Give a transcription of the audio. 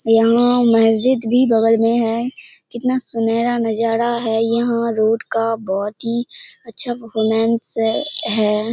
यहाँ मस्जिद भी बगल मे है कितना सुनहेरा नज़ारा हैं यहाँ रोड का बहुत ही अच्छा परफॉर्मेंस है।